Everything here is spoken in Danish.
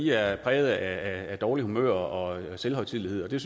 er præget af dårligt humør og selvhøjtidelighed og det